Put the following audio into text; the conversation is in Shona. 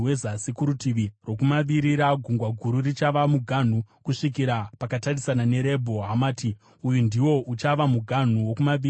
Kurutivi rwokumavirira, Gungwa Guru richava muganhu kusvikira pakatarisana neRebho Hamati. Uyu ndiwo uchava muganhu wokumavirira.